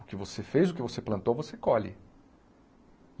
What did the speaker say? O que você fez, o que você plantou, você colhe.